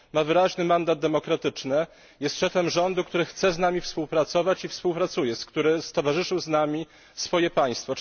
Ma wyraźny mandat demokratyczny, jest szefem rządu, który chce z nami współpracować i współpracuje, który stowarzyszył z nami swoje państwo.